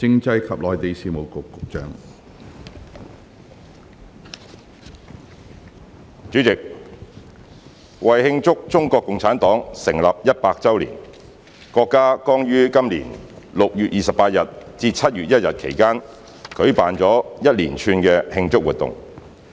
主席，為慶祝中國共產黨成立一百周年，國家剛於今年6月28日至7月1日期間舉辦了一連串的慶祝活動。